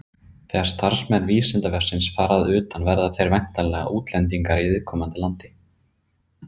þegar starfsmenn vísindavefsins fara utan verða þeir væntanlega útlendingar í viðkomandi landi